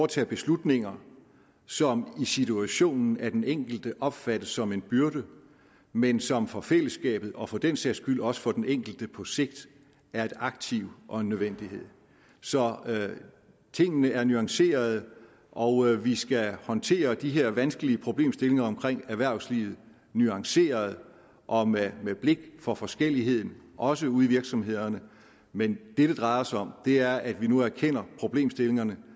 tage beslutninger som i situationen af den enkelte opfattes som en byrde men som for fællesskabet og for den sags skyld også for den enkelte på sigt er et aktiv og en nødvendighed så tingene er nuancerede og vi skal håndtere de her vanskelige problemstillinger omkring erhvervslivet nuanceret og med blik for forskelligheden også ude i virksomhederne men det det drejer sig om er at vi nu erkender problemstillingerne